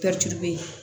be yen